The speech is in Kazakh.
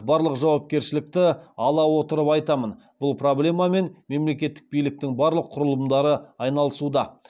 барлық жауапкершілікті ала отырып айтамын бұл проблемамен мемлекеттік биліктің барлық құрылымдары айналысуда